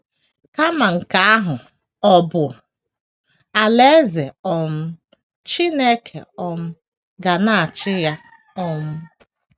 Kama nke ahụ, ọ bụ Alaeze um Chineke um ga na - achị ya. um